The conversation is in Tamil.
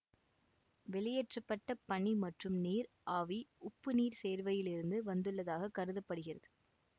வெளியேற்ற பட்ட பனி மற்றும் நீர் ஆவி உப்புநீர் சேர்வையில் இருந்து வந்துள்ளதாக கருத படுகிறது